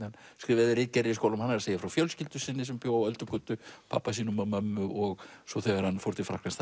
hann skrifaði ritgerðir í skólum hann er að segja frá fjölskyldu sinni sem bjó á Öldugötu pabba sínum og mömmu og svo þegar hann fór til Frakklands